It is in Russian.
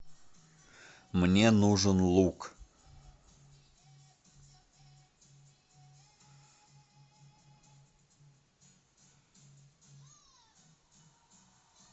мне нужен лук